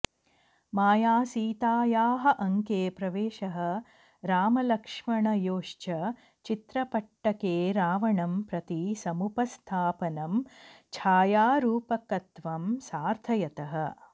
मायासीतायाः अङ्के प्रवेशः रामलक्ष्मणयोश्च चित्रपट्टके रावणं प्रति समुपस्थापनं छायारूपकत्वं सार्थयतः